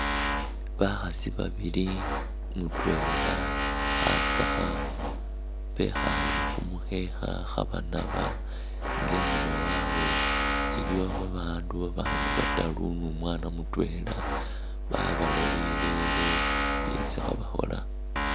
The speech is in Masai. Bakhasi babili mutwela khatsakha, bekhaale khu mukhekha khabanaba nga inyuma wawe iliwo babandu babandi bataru ni umwana mutwela babalolele byesi khabakhola.